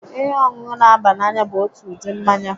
Ihe ọṅụṅụ n'aba n'anya bụ otu ụdị mmanya